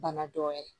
Bana dɔ ye